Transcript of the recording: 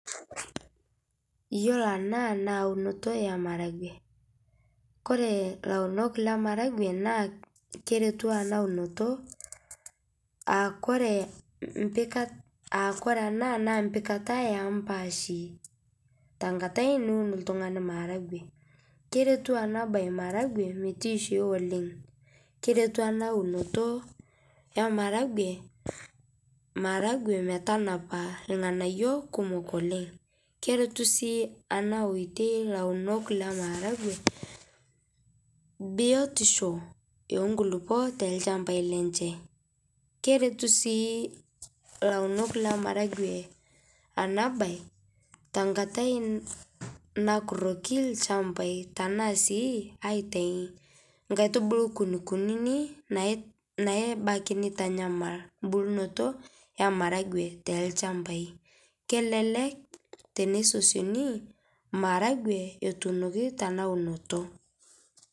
Iyiolo ena na eunoto emaragwe koree launok lemaragwe na keretu ena unoto aaku ore ena na empika ompashi tenkata niun oltungani maragwe kertu enabae maragwe metoisho oleng keretu enaunoto emaragwe maragwe metanapa irnganayio kumol oleng keretu si enaoitoi launol kemaragwe biotisho obkulukuol tolchambai lenye, keretu si ilaunot lemaragwe tenkata nakuroki lchambai nkaitubulu kunikunik naibaki nitanyamal embulunoto ormaragwe tolchambai kelelek tenisosioni maragwe etuunoki tena unoto.